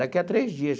Daqui a três dias.